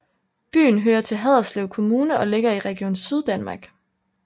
Byen hører til Haderslev Kommune og ligger i Region Syddanmark